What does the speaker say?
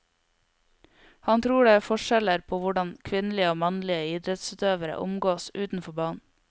Han tror det er forskjeller på hvordan kvinnelige og mannlige idrettsutøvere omgås utenfor banen.